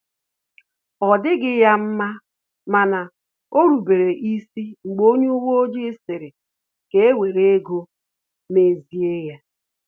Ọ dịghị ya mma mana orubere isi mgbe onye uwe ojii sịrị ka ewere ụzọ ego mezie ya